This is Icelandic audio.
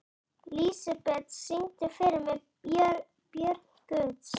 Lísebet, syngdu fyrir mig „Börn Guðs“.